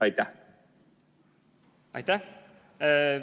Aitäh!